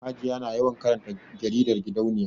Hajiya na yawan karanta jaridar gidauniya